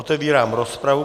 Otevírám rozpravu.